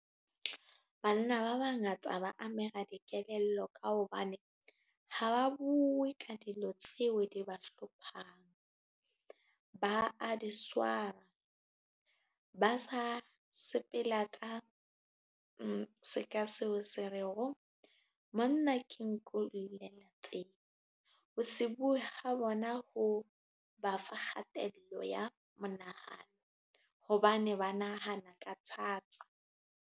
Banna ba bangata ba amega dikelello ka hobane ha ba bue ka dilo tseo di ba hlophang. Ba a diswara, ba sa sepela ka seka seo se re ho monna ke nku , ho se bue ha bona ho ba fa kgatello ya monahano hobane ba nahana ka thata.